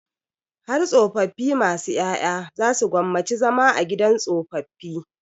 Har tsofaffi masu ƴaƴa za su gwammaci zama a gidan tsofaffi.